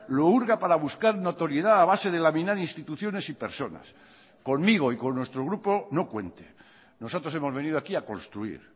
lo hurga para buscar notoriedad a base de laminar instituciones y personas conmigo y con nuestro grupo no cuente nosotros hemos venido aquí a construir